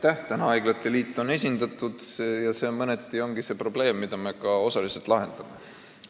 Praegu on haiglate liit esindatud ja see mõneti ongi tekitanud probleemi, mida me ka osaliselt lahendame.